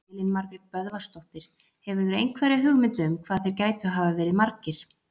Elín Margrét Böðvarsdóttir: Hefurðu einhverja hugmynd um hvað þeir gætu hafa verið margir?